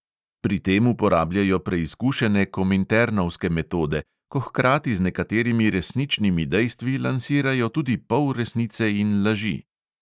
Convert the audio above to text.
Pri tem uporabljajo preizkušene kominternovske metode, ko hkrati z nekaterimi resničnimi dejstvi lansirajo tudi polresnice in laži.